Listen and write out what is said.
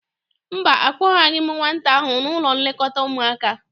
Mba, akpọgabeghị m nwata ahụ n'ụlọ nlekọta ụmụaka.